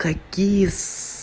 какие с